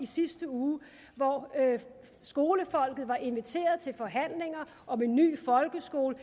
sidste uge hvor skolefolket var inviteret til forhandlinger om en ny folkeskole